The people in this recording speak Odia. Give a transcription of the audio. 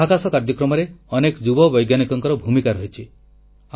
ଆମ ମହାକାଶ କାର୍ଯ୍ୟକ୍ରମରେ ଅନେକ ଯୁବ ବୈଜ୍ଞାନିକଙ୍କର ଭୂମିକା ରହିଛି